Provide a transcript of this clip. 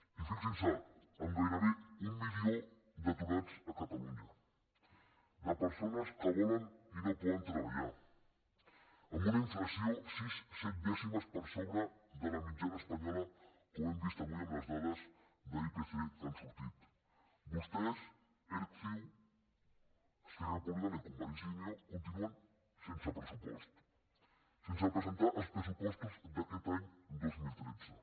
i fixin se amb gairebé un milió d’aturats a catalunya de persones que volen i no poden treballar amb una inflació sis set dècimes per sobre de la mitjana espanyola com hem vist avui en les dades d’ipc que han sortit vostès erc ciu esquerra republicana i convergència i unió continuen sense pressupost sense presentar els pressupostos d’aquest any dos mil tretze